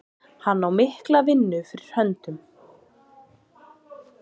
Hann á mikla vinnu fyrir höndum.